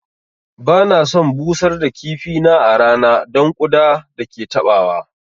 Ba na son busar da kifi na a rana don ƙuda da ke taɓawa